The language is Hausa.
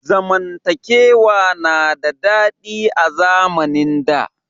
Zamantakewa na da daɗi a zamnin da.